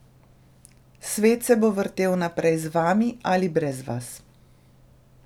Svet se bo vrtel naprej z vami ali brez vas.